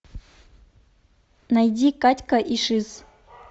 найди катька и шиз